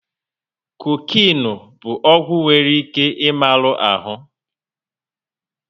Kokinu bụ ọgwụ nwere ike ị malu ahụ